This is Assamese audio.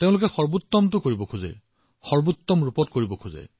সৰ্বশ্ৰেষ্ঠ কৰিব বিচাৰে ইয়াক সৰ্বশ্ৰেষ্ঠ উপায়েৰে কৰিব বিচাৰে